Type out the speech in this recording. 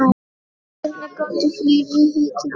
Hvernig gátu fleiri heitið amma?